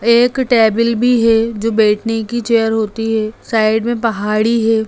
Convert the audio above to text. एक टेबिल भी है जो बैठने की चेयर होती है साइड में पहाड़ी है।